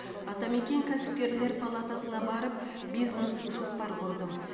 атамекен кәсіпкерлер палатасына барып бизнес жоспар құрдым